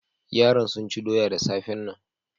Yaran sun ci doya da safan nan.